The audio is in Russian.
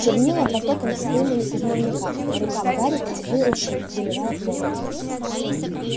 чернила потоком всхлынули из дневника по рукам гарри потекли ручьи заливая пол